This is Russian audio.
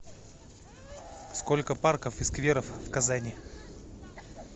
сколько парков и скверов в казани